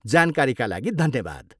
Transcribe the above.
जानकारीका लागि धन्यवाद।